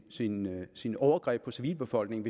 sine sine overgreb på civilbefolkningen